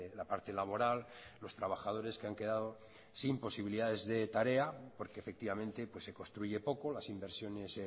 la parte laboral los trabajadores que han quedado sin posibilidades de tarea porque efectivamente se construye poco las inversiones